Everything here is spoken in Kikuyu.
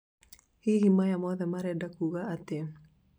hihi maya mothe marenda kũga atia?